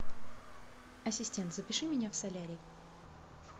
ассистент запиши меня в солярий